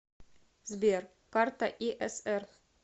сбер карта иср